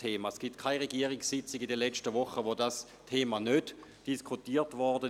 Es gab keine Regierungssitzung in den letzten Wochen, an der dieses Thema nicht diskutiert wurde.